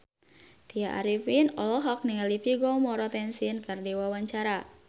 Tya Arifin olohok ningali Vigo Mortensen keur diwawancara